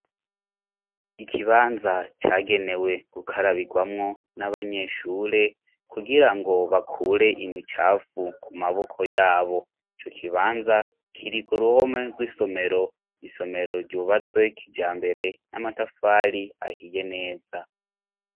Ikibanza cagenewe gukarabigwamwo n'abanyeshure kugira ngo bakure imicapfu ku maboko yabo ico kibanza kiri ku ruhome rw'isomero isomero ryubatswe kija mbere n'amatafali ahiye neza.